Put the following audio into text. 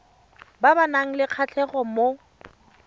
ba nang le kgatlhego mo